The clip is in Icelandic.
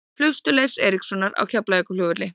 Flugstöð Leifs Eiríkssonar á Keflavíkurflugvelli.